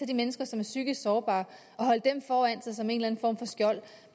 de mennesker som er psykisk sårbare og holde dem foran sig som en eller anden form for skjold